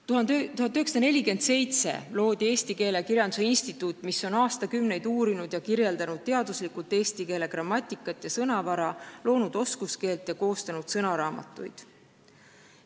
1947. aastal asutati Keele ja Kirjanduse Instituut, mis on aastakümneid uurinud ja kirjeldanud teaduslikult eesti keele grammatikat ja sõnavara, loonud oskuskeelt ja koostanud sõnaraamatuid.